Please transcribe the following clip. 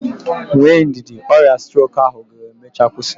Nwee ndidi, ọrịa strok ahụ ga-emechaa kwụsị.